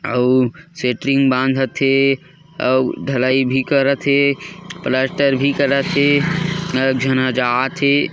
आऊ सेटरिंग बांधत हे आऊ ढलाई भी करत हे प्लास्टर भी करत हे अ एक झन ह जात हे।